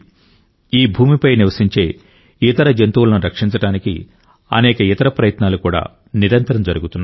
ఈ భూమిపై నివసించే ఇతర జంతువులను రక్షించడానికి అనేక ఇతర ప్రయత్నాలు కూడా నిరంతరం జరుగుతున్నాయి